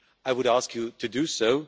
I would ask you to do so.